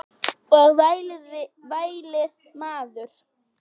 Og vælið maður.